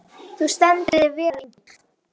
Þú stendur þig vel, Engill!